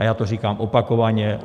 A já to říkám opakovaně.